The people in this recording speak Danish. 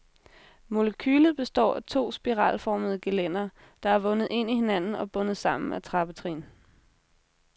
Molekylet består af to spiralformede gelændere, der er vundet ind i hinanden og bundet sammen af trappetrin.